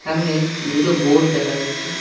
সামনে দুটো বোট দেখা যাচ্ছে।